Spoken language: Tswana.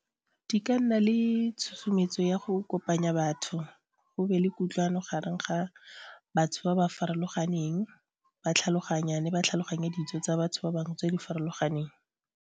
Di ka nna le tshosometso ya go kopanya batho go be le kutlwano gareng ga batho ba ba farologaneng ba tlhaloganyane ba tlhaloganya ditso tsa batho ba bangwe tse di farologaneng.